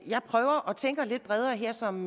jeg prøver at tænke lidt bredere her som